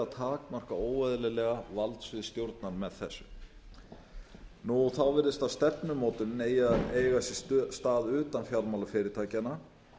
takmarka óeðlilega valdsvið stjórnar með þessu þá virðist að stefnumótunin eigi að eiga sér stað utan fjármálafyrirtækjanna